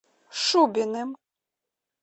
шубиным